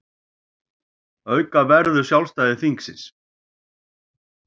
Auka verður sjálfstæði þingsins